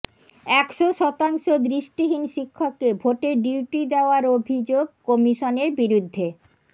একশো শতাংশ দৃষ্টিহীন শিক্ষককে ভোটের ডিউটি দেওয়ার অভিযোগ কমিশনের বিরুদ্ধে